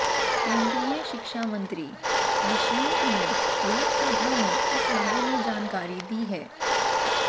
केंद्रीय शिक्षा मंत्री निशंक ने लोकसभा में इस बारे में जानकारी दी है